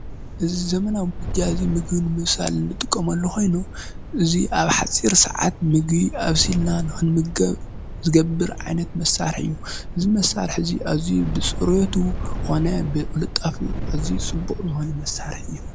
እዚይ ዘመናዊ ምድጃ እዙይ ምግቢ ንምብሳል እንጥቀመሉ ኮይኑ። እዚ ኣብ ሓፂር ስዓት ምግቢ ኣብሲልና ንክንምገብ ዝገብር ዓይነት መሳርሒ ስዩ። እዙይ መሳርሒ እዚ ኣዝዩ ብፅርየቱ ኮነ ብቅልጣፊኡ ኣዝዩ ፅቡቅ ዝኮነ መሳርሒ እዩ።